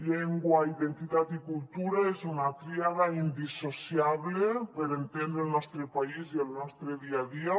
llengua identitat i cultura és una tríada indissociable per entendre el nostre país i el nostre dia a dia